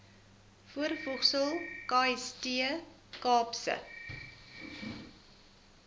voorvoegsel kst kaapse